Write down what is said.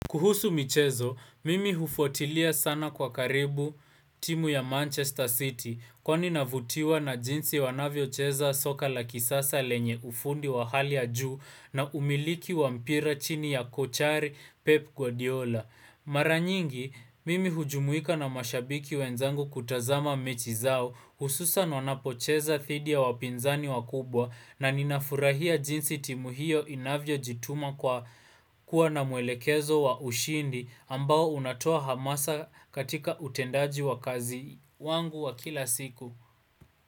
Kuhusu michezo, mimi hufuatilia sana kwa karibu timu ya Manchester City kwa ninavutiwa na jinsi wanavyo cheza soka la kisasa lenye ufundi wa hali ya juu na umiliki wampira chini ya kochari Pep Guardiola. Maranyingi, mimi hujumuika na mashabiki wenzangu kutazama mechi zao hususan wanapo cheza dhidi ya wapinzani wakubwa na ninafurahia jinsi timuhio inavyo jituma kwa kuwa na muelekezo wa ushindi ambao unatoa hamasa katika utendaji wa kazi wangu wa kila siku.